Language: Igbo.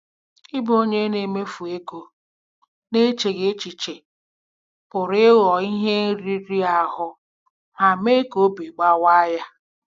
Ịbụ onye na-emefu ego n'echeghị echiche pụrụ ịghọ ihe riri ahụ ma mee ka obi obi gbawaa ya.